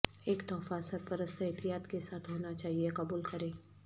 ایک تحفہ سرپرست احتیاط کے ساتھ ہونا چاہئے قبول کریں